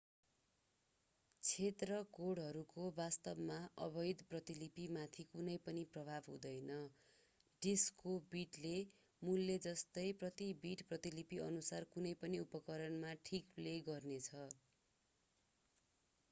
क्षेत्र कोडहरूको वास्तवमा अवैध प्रतिलिपिमाथि कुनै पनि प्रभाव हुँदैन डिस्कको बिटले मूलले जस्तै प्रति बिट प्रतिलिपिअनुसार कुनै पनि उपकरणमा ठिक प्ले गर्ने छ